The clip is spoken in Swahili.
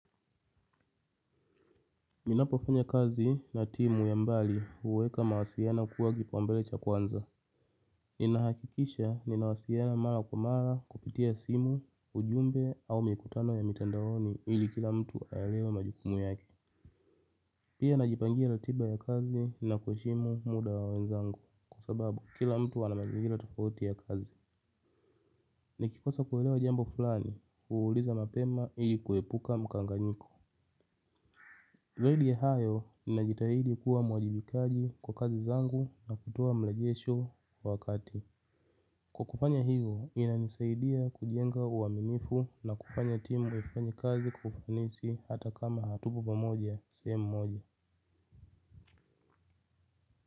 Ninapofanya kazi na timu ya mbali, huweka mawasiliano kuwa kipaumbele cha kwanza. Ninahakikisha ninawasiliana mara kwa mara kupitia simu, ujumbe au mikutano ya mitandaoni ili kila mtu alewe majukumu yake. Pia najipangia ratiba ya kazi na kuheshimu muda wa wenzangu kwasababu kila mtu anamazingira tofauti ya kazi. Nikikosa kuelewa jambo fulani, huuliza mapema ili kuepuka mkanganyiko. Zaidi ya hayo, ninajitahidi kuwa mwajibikaji kwa kazi zangu na kutoa marejesho kwa wakati. Kwakufanya hivyo, inanisaidia kujenga uwaminifu na kufanya timu ifanye kazi kwa ufanisi hata kama hatuko pamoja, sehemu moja.